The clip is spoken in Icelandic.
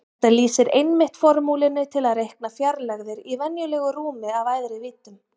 Þetta lýsir einmitt formúlunni til að reikna fjarlægðir í venjulegu rúmi af æðri víddum.